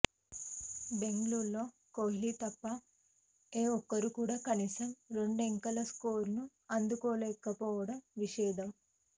బెంగళూరులో కోహ్లి తప్ప ఏ ఒక్కరూ కూడా కనీసం రెండంకెలా స్కోరును అందుకోలేక పోవడం విశేషం